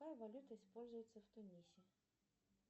какая валюта используется в тунисе